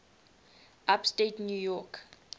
upstate new york